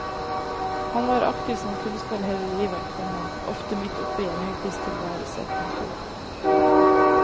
Han var aktiv som kunstner hele livet, komma ofte midt oppe i en hektisk tilværelse. punktum